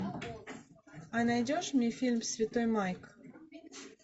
а найдешь мне фильм святой майк